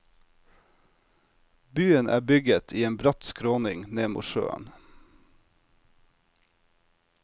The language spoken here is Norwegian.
Byen er bygget i en bratt skråning ned mot sjøen.